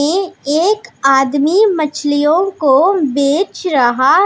ये एक आदमी मछलियों को बेच रहा--